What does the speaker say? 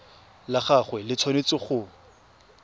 la gagwe le tshwanetse go